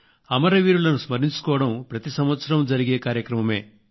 అమరవీరులను స్మరించుకోవడం ప్రతి సంవత్సరం జరిగే కార్యక్రమమే